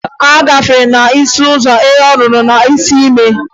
A gafee ọnọ n'isi ụzọ e ruo ọnọ n'isi ime.